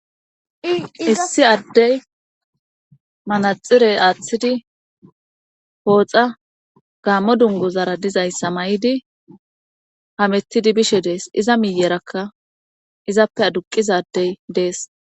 Issi addey manaxirey aaththidi hooxa gaammo dungozara dizayssa may7idi hamettidi bishe dees iza miyerakka izappe aduqizadey dees.